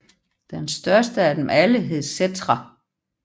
Den største af dem alle hed Settra